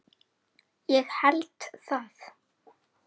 Ég held það